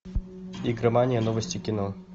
игромания новости кино